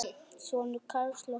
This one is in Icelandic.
Sonur Karls er Hörður Björn.